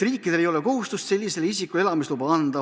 Riikidel ei ole kohustust sellisele isikule elamisluba anda.